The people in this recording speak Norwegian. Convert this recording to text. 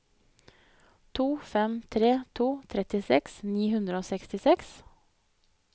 to fem tre to trettiseks ni hundre og sekstiseks